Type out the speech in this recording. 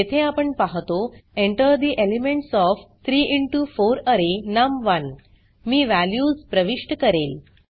येथे आपण पाहतो Enter the elements of 3 into 4 array नम1 मी वॅल्यूज प्रविष्ट करेल